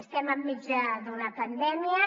estem enmig d’una pandèmia